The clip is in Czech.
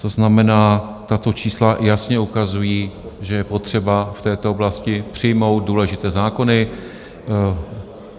To znamená, tato čísla jasně ukazují, že je potřeba v této oblasti přijmout důležité zákony.